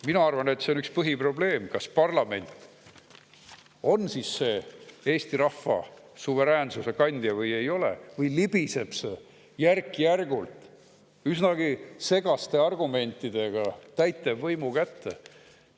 Mina arvan, et see on põhiprobleem, kas parlament on siis see Eesti rahva suveräänsuse kandja või ei ole, või libiseb see järk-järgult ja üsnagi segaste argumentidega täitevvõimu kätte.